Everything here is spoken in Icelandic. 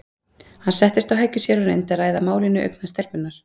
Hann settist á hækjur sér og reyndi að ræða málin í augnhæð stelpunnar.